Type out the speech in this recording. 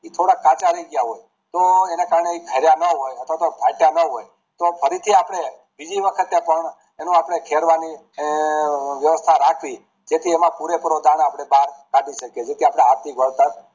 એ થોડાક કાચા રે ગયા હોય તો એના કારણે તે ઠારયાં ના હોય અથવા તો પાક ના હોય તો ફરીથી અપડે બીજી વખત ખેરવાની અમ વ્યવસ્થા રાખવી જેથી આપણે એમાં પુરેપુરો દાણો કાઠી શકીએ જેથી આપણું આર્થિક વળતર